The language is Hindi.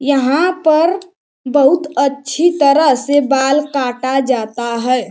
यहाँ पर बहुत अच्छी तरह से बाल काटा जाता है।